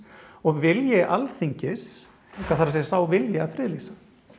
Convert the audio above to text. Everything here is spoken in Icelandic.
og vilji Alþingis það er að segja sá vilji að friðlýsa